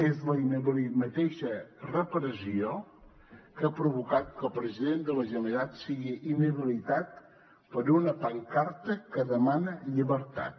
és la mateixa repressió que ha provocat que el president de la generalitat sigui inhabilitat per una pancarta que demana llibertat